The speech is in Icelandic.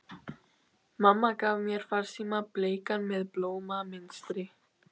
Mamma gaf mér farsíma, bleikan með blómamynstri.